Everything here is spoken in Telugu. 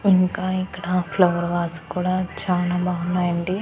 ఇంకా ఇక్కడ ఫ్లవర్ వాస్ కూడా చానా బావున్నాయండి.